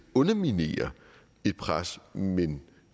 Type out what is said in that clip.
underminere et pres men